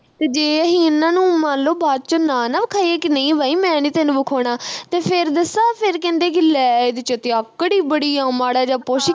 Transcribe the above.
ਤੇ ਅਹੀ ਜੇ ਇਨ੍ਹਾਂ ਨੂੰ ਮੰਨ ਲੋ ਬਾਅਦ ਵਿਚ ਨਾ ਨਾ ਵਿਖਾਈਏ ਕਿ ਨਹੀਂ ਬਈ ਮੈਂ ਨੀ ਤੈਨੂੰ ਵਿਖਾਉਣਾ ਤੇ ਫਿਰ ਦੱਸਾਂ ਫਿਰ ਕਹਿੰਦੇ ਕਿ ਲੈ ਇਹਦੇ ਵਿਚ ਤੇ ਆਕੜ ਈ ਬੜੀ ਆ ਮਾੜਾ ਜਾ ਪੁੱਛ